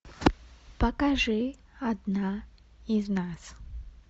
покажи одна из нас